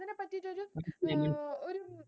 ഒരു